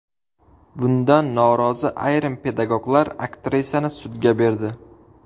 Bundan norozi ayrim pedagoglar aktrisani sudga berdi.